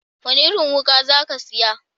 Wani irin wuka za ka saya?